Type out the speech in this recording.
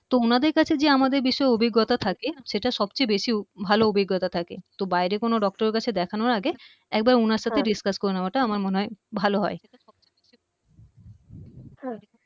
তো উনাদের কাছে যে আমাদের বিষয়ে অভিজ্ঞতা থাকে সেটা সবচেয়ে বেশি ভালো অভিজ্ঞতা থাকে তো বাইরে কোন doctor এর কাছে দেখানোর আগে একবার উনার সাথে হ্যা discuss করে নেওয়াটা আমার মনে হয় ভালো হয় হ্যা